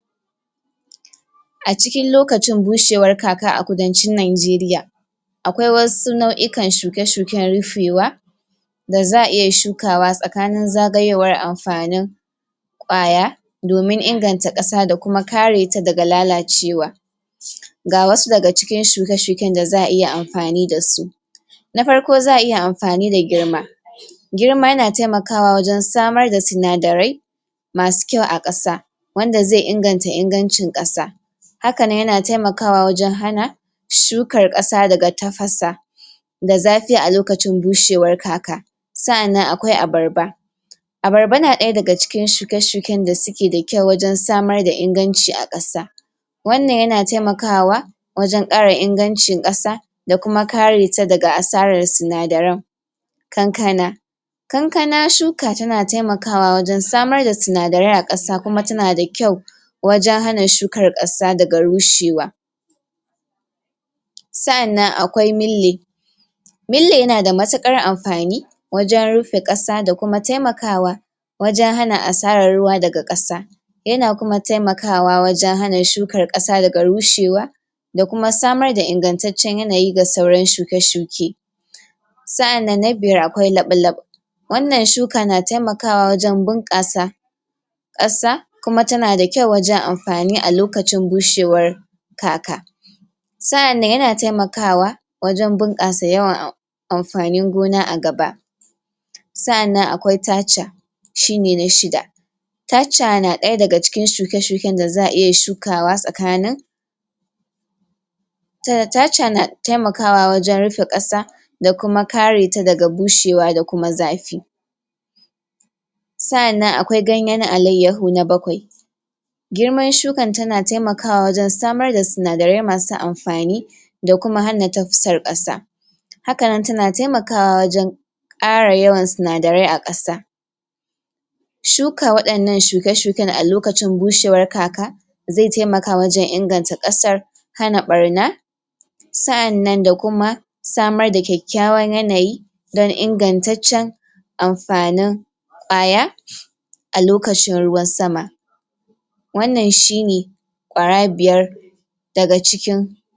acikin lokacin gushewar kaka a kudancin nigeria akwai wasu nauyukan shuke shuken rifewa da za'a iya shukawa sakanin zagayowar amfani kwaya domin inganta kasa dakuma kareta daga lalacewa (????) ga wasu daga cikin shuke shuken da za'a iya amfani dasu na farko za'a iya amfani da girma girma yana taimakawa wajan samarda sinadarai masu kyau a kasa wanda ze inganta ingancin kasa hakane yana taimakawa wajan hana shukar kasa daga tafasa da zafi alokacin gushewar kaka sa'anan akwai abarba abarba na daya daga cikin shuke shuken dasukeda kyau wajan samarda inganci a kasa wannan yana taimakawa wajan kara ingancin kasa da kuma kareta daga asarar sinadaran kankana kankana shuka tana taimakawa wajan samarda sinadarai akasa kuma tanada kyau wajan hana shukar kasa daga rushewa sa'anan akwai milli milli yanada matukar amfani wajan rufe kasa dakuma taimakawa wajan hana asarar ruwa daga kasa yana kuma taimakawa wajan hana shukar kasa daga rushewa dakuma samarda ingantaccen yanayi ga sauran shuke shuke sa'aanan na biyar akwai lablab wannan shuka na taimakawa wajan bunkasa kasa kuma tanada kyau wajan amfani alokacin gushewar kaka sa'anan yana taimakawa wajan bunkasa yawan amfanin gona agaba sa'anan akwai tacha shine na shida tacha na daya daga cikin shuke shuken da za'a iya shukawa sakanin tacha na taimakawa wajan rufe kasa da kuma kareta daga bushewa dakuma zafi sa'anan akwai ganyan alayahu na bakwai girman shukan tana taimakawa wajan samarda sinadarai masu amfani da kuma hana kasa haka nan tana taimakawa wajan kara yawan sinadarai akasa shuka wadannan shuke shuken a lokacin gushewar kaka ze taimaka wajan inganta kasar hana barna sa'anan da kuma samar da kyakyawan yanayi dan ingantaccen amfani kwaya alokacin ruwan sama wannan shine kwara biyar daga cikin